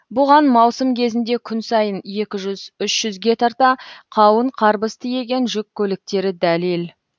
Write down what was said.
бұған маусым кезінде күн сайын екі жүз үш жүзге тарта қауын қарбыз тиеген жүк көліктері дәлел